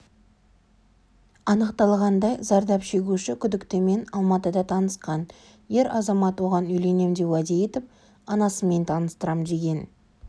анықталғандай зардап шегуші күдіктімен алматыда танысқан ер азамат оған үйленем деп уәде етіп анасымен таныстарам деген